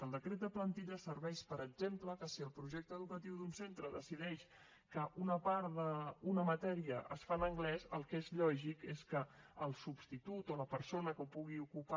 el decret de plantilles serveix per exemple que si el projecte educatiu d’un centre decideix que una part d’una matèria es fa en anglès el que és lògic és que el substitut o la persona que pugui ocupar